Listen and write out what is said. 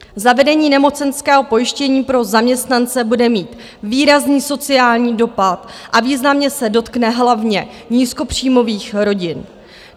Zavedení nemocenského pojištění pro zaměstnance bude mít výrazný sociální dopad a významně se dotkne hlavně nízkopříjmových rodin.